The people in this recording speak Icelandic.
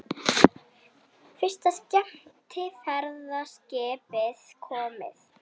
Fyrsta skemmtiferðaskipið komið